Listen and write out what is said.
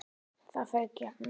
Það fauk í hana.